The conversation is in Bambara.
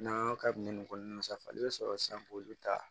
N'an y'a kabini nin kɔnɔna safinɛ i bɛ sɔrɔ sisan k'olu ta